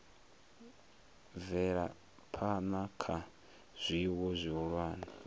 bvela phana kha zwiwo zwihulwane